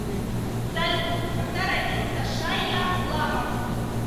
салют когда родился шайя лабаф